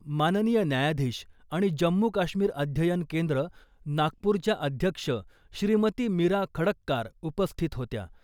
माननीय न्यायाधीश आणि जम्मू काश्मीर अध्ययन केंद्र, नागपूरच्या अध्यक्ष श्रीमती मीरा खडक्कार उपस्थित होत्या.